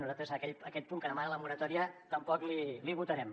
nosaltres aquest punt que demana la moratòria tampoc l’hi votarem